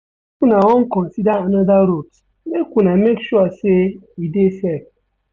If una wan consider anoda route make una make sure sey e dey safe.